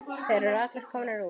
Þeir eru allir komnir út.